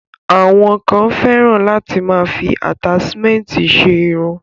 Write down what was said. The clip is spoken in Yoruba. Àwọn kan fẹ́ràn láti máa fi àtáṣmẹ̀ntì ṣe irun.